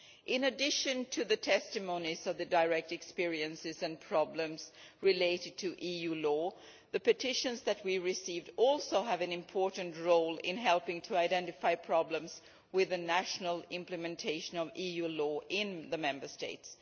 In addition to the testimonies of the direct experiences and problems related to EU law, the petitions that we receive also have an important role in helping to identify problems with the national implementation of EU law in the Member States.